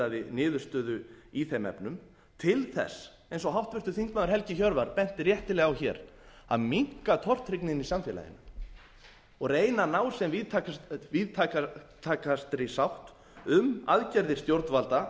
niðurstöðu í þeim efnum til þess eins og háttvirtur þingmaður helgi hjörvar benti réttilega á hér að minnka tortryggnina í samfélaginu og reyna að ná sem víðtækastri sátt um aðgerðir stjórnvalda